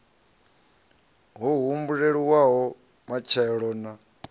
ha o humbulelavho matshelo na